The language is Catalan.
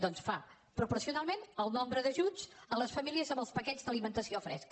doncs fa proporcionalment el nombre d’ajuts a les famílies amb els paquets d’alimentació fresca